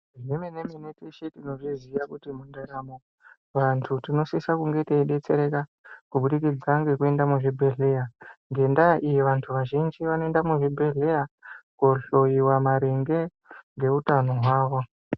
Zvemene- mene teshe tinozviziya kuti mundaramo vanthu tinosisa kunge teidetsereka kubudikidza ngekuenda muzvibhedhleya. Ngendaa iyi ,vanthu vazhinji vanoenda muzvibhedhleya koohloyiwa maringe ngeutano hwawo.